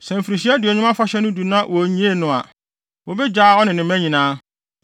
“ ‘Sɛ Mfirihyia Aduonum Afahyɛ no du na wonnyee no a, wobegyaa ɔne ne mma nyinaa,